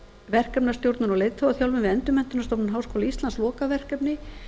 verkefnastjórnun og leiðtogaþjálfun við endurmenntunarstofnun háskóla íslands lokaverkefni